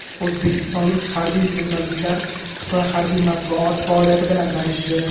O‘zbekistonlik harbiy jurnalistlar Xitoy harbiy matbuoti faoliyati bilan tanishdi .